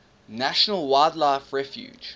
national wildlife refuge